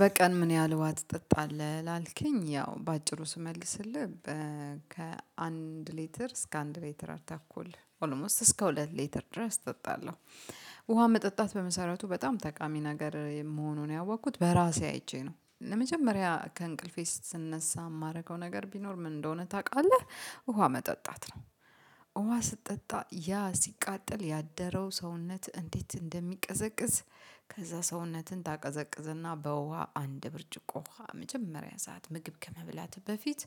በቀን ምን ያህል ውሃ ትጠጣለህ ላልከኝ ያው በአጭሩ ስመልስልህ ከአንድ ሌትር እስከ አንድ ሌትር አርተኩል ኦልሞስት እስከ ሁለት ሌትር ድረስ እጠጣለሁ። ውሃ መጠጣት በመሰረቱ በጣም ጠቃሚ ነገር መሆኑን ያወኩት በራሴ አይቼ ነው ለመጀመሪያ ከእንቅልፌ ስነሳ ማደርገው ነገር ቢኖር ምን እንደሆነ ታቃለህ ውሃ መጠጣት ነው። ውሃ ስትጠጣ ያ ሲቃጠል ያደረው ሰውነት እንዴት እንደሚቀዘቅዝ። ከዛ ሰውነትን ታቀዘቅዝና በውሃ አንድ ብርጭቆ ውሃ መጀመሪያ ሰዓት ምግብ ከመብላትህ በፊት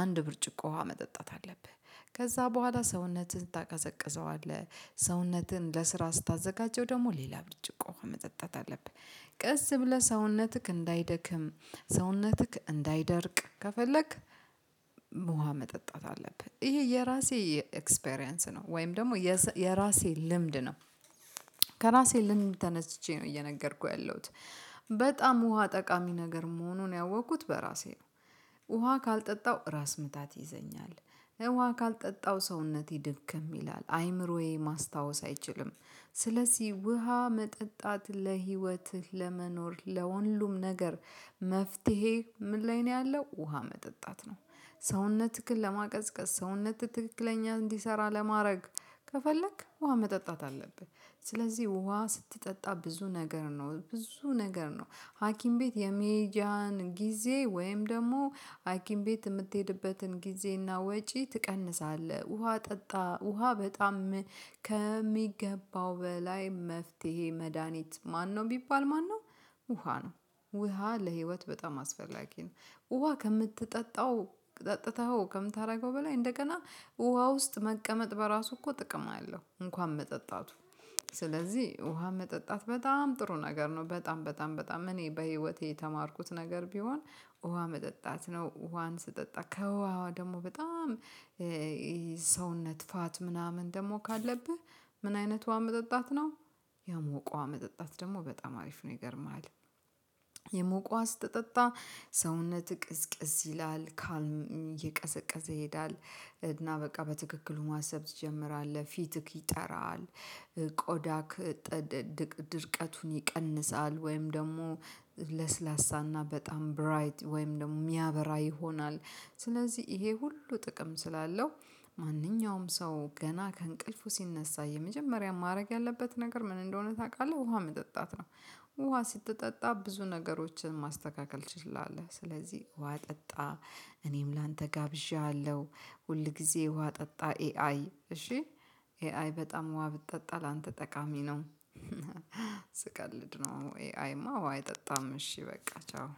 አንድ ብርጭቆ ውሃ መጠጣት አለብህ። ከዛ በኋላ ሰውነትን ታቀዘቅዘዋለህ ሰውነትን ለስራ ስታዘጋጀው ደግሞ ሌላ ብርጭቆ ውሃ መጠጣት አለብህ። ቀስ ብለህ ሰውነትክ እንዳይደክም ሰውነትክ እንዳይደርቅ ከፈለክ ውሃ መጠጣት አለብህ። ይሄ የራሴ ኤክስፒሪያንስ ነው ወይም ደግሞ የራሴ ልምድ ነው። ከራሴ ልምድ ተነስቼ ነው እየነገርኩህ ያለሁት በጣም ውሃ ጠቃሚ ነገር መሆኑን ያወኩት በራሴ ነው። ውሃ ካልጠጣው ራስ ምታት ይዘኛል። ውሃ ካልጠጣው ሰውነቴ ድክም ይላል አይምሮዬ ማስታወስ አይችልም። ስለዚህ ውሃ መጠጣት ለህይወትህ ለመኖር ለሁሉም ነገር መፍትሄ ምን ላይ ነው ያለው ውሃ መጠጣት ነው። ሰውነትክን ለማቀዝቀዝ ሰውነትክ ትክክለኛ እንዲሰራ ለማረግ ከፈለክ ውሃ መጠጣት አለብህ። ስለዚህ ውሃ ስትጠጣ ብዙ ነገር ነው ብዙ ነገር ነው። ሀኪም ቤት የሚጃን ጊዜ ወይም ደግሞ ሀኪም ቤት ምትሄድበትን ጊዜና ወጪ ትቀንሳለህ ውሃ ጠጣ ውሃ በጣም ከሚገባው በላይ መፍትሄ መድሃኒት ማነው ቢባል ማነው ውሃ ነው። ውሃ ለህይወት በጣም አስፈላጊ ነው። ውሃ ከምትጠጣው ጠጥተኸው ከምታረገው በላይ እንደገና ውሃ ውስጥ መቀመጥ በራሱ እኮ ጥቅም አለው እንኳን መጠጣቱ። ስለዚህ ውሃ መጠጣት በጣም ጥሩ ነገር ነው በጣም በጣም በጣም እኔ በህይወቴ የተማርኩት ነገር ቢሆን ውሃ መጠጣት ነው። ውሃን ስጠጣ ከውሃ ደግሞ በጣም ሰውነት ፋት ምናምን ደግሞ ካለብህ ምን አይነት ውሃ መጠጣት ነው? የሞቀ ውሃ መጠጣት ደግሞ በጣም አሪፍ ነው ይገርምህል። የሞቀ ውሃ ስትጠጣ ሰውነትክ ቅዝቅዝ ይላል ካልም እየቀዘቀዘ ይሄዳል። እና በቃ በትክክሉ ማሰብ ትጀምራለህ ፊትክ ይጠራል ቆዳክ ድርቀቱን ይቀንሳል። ወይም ደግሞ ለስላሳና በጣም ብራይት ወይም ደግሞ ሚያበራ ይሆናል። ስለዚህ ይሄ ሁሉ ጥቅም ስላለው ማንኛውም ሰው ገና ከእንቅልፉ ሲነሳ የመጀመሪያ ማረግ ያለበት ነገር ምን እንደሆነ ታቃለህ ውሃ መጠጣት ነው። ውሃ ስትጠጣ ብዙ ነገሮችን ማስተካከል ትችላለህ። ስለዚህ ውሃ ጠጣ። እኔም ላንተ ጋብዤሀለው። ሁል ጊዜ ውሃ ጠጣ ኤአይ እሺ ኤአይ በጣም ውሃ ብትጠጣ ላንተ ጠቃሚ ነው። ስቀልድ ነው። ኤአይማ ውሃ አይጠጣም እሺ በቃ ቻው